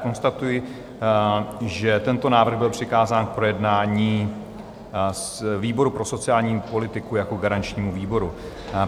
Konstatuji, že tento návrh byl přikázán k projednání výboru pro sociální politiku jako garančnímu výboru.